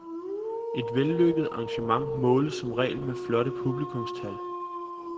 Et vellykket arrangement måles som regel med flotte publikumstal.